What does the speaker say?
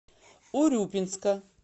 урюпинска